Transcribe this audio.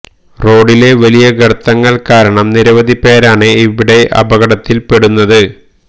റോഡിലെ വലിയ ഗര്ത്തങ്ങള് കാരണം നിരവധി പേരാണ് ഇവിടെ അപകടത്തില് പെടുന്നത്